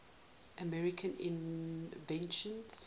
american inventions